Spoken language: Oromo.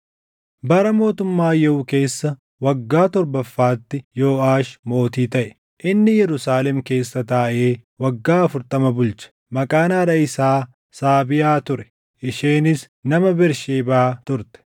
Bara mootummaa Yehuu keessa waggaa torbaffaatti Yooʼaash mootii taʼe; inni Yerusaalem keessa taaʼee waggaa afurtama bulche. Maqaan haadha isaa Saabiyaa ture; isheenis nama Bersheebaa turte.